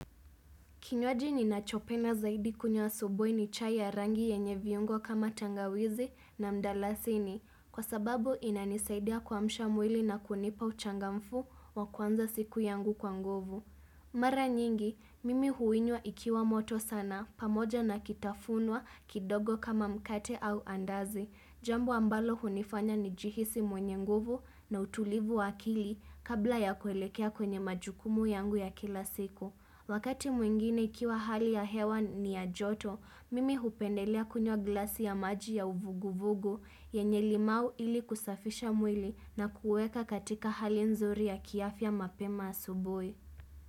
Kinywaji ninachopenda zaidi kunywa asubuhi ni chai ya rangi yenye viungo kama tangawizi na mdalasini kwa sababu inanisaidia kuamsha mwili na kunipa uchangamfu wa kuanza siku yangu kwa nguvu. Mara nyingi, mimi huinywa ikiwa moto sana pamoja na kitafunwa kidogo kama mkate au andazi. Jambo ambalo hunifanya nijihisi mwenye nguvu na utulivu wa akili kabla ya kuelekea kwenye majukumu yangu ya kila siku. Wakati mwingine ikiwa hali ya hewa ni ya joto, mimi hupendelea kunywa glasi ya maji ya uvuguvugu yenye limau ili kusafisha mwili na kuweka katika hali nzuri ya kiafya mapema asubuhi.